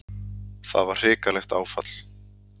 Það var hrikalegt áfall.